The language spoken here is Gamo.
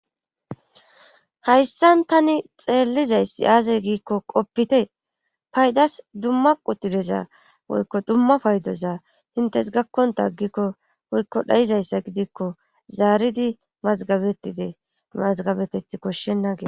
Hayssan tani xeellizayssi aasey giikko qoppite paydas dumma qudideza woykko dumma paydoza intes gakkonta aggikko woykko dhayizayssa gidikko zaaridi mazgabetide mazgabeteth koshshennagee.